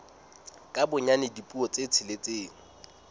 ka bonyane dipuo tse tsheletseng